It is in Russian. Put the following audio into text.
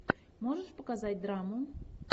можешь показать драму